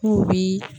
N'u bi